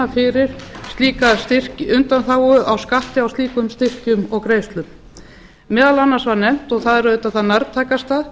fara að opna fyrir slíka undanþágu á skatti á slíkum styrkjum og greiðslu meðal annars var nefnt og það er auðvitað það nærtækasta